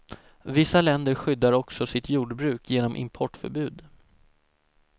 Vissa länder skyddar också sitt jordbruk genom importförbud.